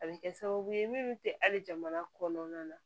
A bɛ kɛ sababu ye minnu tɛ hali jamana kɔnɔna na